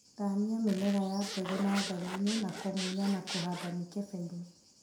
thanmia mĩmera ya mbegũ natharĩini nakũnuya na kũhanda mĩkebeinĩ.